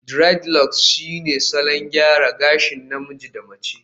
aDreadlocks shine salon gyara gashi na namiji da mace